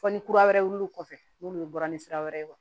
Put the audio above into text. Fɔ ni kura wɛrɛ wilil'o kɔfɛ n'olu bɔra ni sira wɛrɛ ye